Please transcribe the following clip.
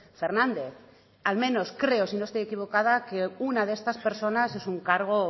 fernández al menos creo si no estoy equivocada que una de estas personas es un cargo